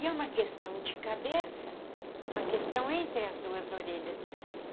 E é uma questão de cabeça, uma questão entre as duas orelhas.